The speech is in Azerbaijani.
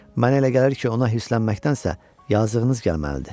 Mənə elə gəlir ki, ona hisslənməkdənsə, yazığınız gəlməlidir.